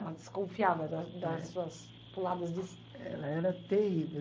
Ela desconfiava da das suas puladas de... Ela era terrível.